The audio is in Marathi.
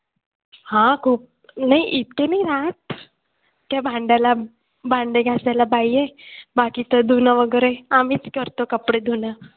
हां खूप नाही इतके नाही राहात. त्या भांड्याला भांडं घासायला बाई आहे. बाकी तर धुणं वगैरे आम्हीच करतो कपडे धुणं.